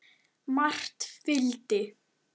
Margt fylgdi.